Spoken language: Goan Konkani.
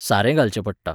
सारें घालचें पडटा.